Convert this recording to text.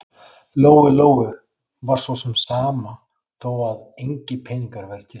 Lóu-Lóu var svo sem sama þó að engir peningar væru til.